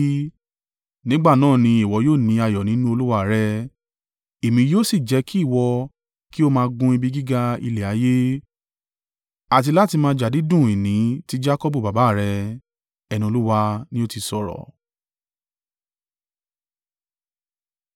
nígbà náà ni ìwọ yóò ní ayọ̀ nínú Olúwa rẹ, èmi yóò sì jẹ́ kí ìwọ kí ó máa gun ibi gíga ilẹ̀ ayé, àti láti máa jàdídùn ìní ti Jakọbu baba rẹ.” Ẹnu Olúwa ni ó ti sọ̀rọ̀.